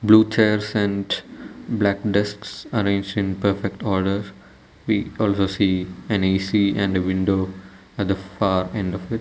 blue chairs and black desks arranged in perfect order we also see an A_C and a window at the far end of it.